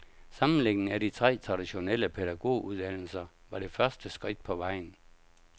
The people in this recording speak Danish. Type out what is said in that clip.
Sammenlægningen af de tre traditionelle pædagoguddannelser var det første skridt på vejen.